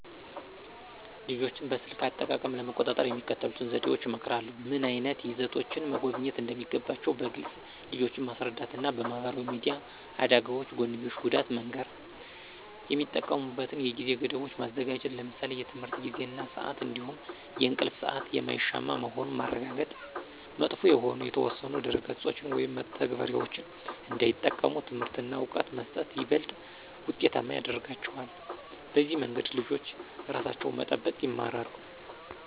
ልጆችን በስልክ አጠቃቀም ለመቆጣጠር የሚከተሉትን ዘዴዎች እመክራለሁ። ምን ዓይነት ይዘቶችን መጎብኘት እንደሚገባቸው በግልፅ ልጆችን ማስረዳት እና የማህበራዊ ሚዲያ አደጋዎች ጎንዮሽ ጉዳት መንገር። የሚጠቀሙበትን የጊዜ ገደቦች ማዘጋጀት ለምሳሌ የትምህርት ጊዜ እና ስአት እንዲሁም የእንቅልፍ ሰአት የማይሻማ መሆኑን ማረጋገጥ። መጥፎ የሆኑ የተወሰኑ ድረ-ገጾችን ወይም መተግበሪያዎችን እንዳይጠቀሙ ትምህርት እና እውቀት መስጠት ይበልጥ ውጤታማ ያረጋቸዋል። በዚህ መንገድ ልጆች ራሳቸውን መጠበቅ ይማራሉ።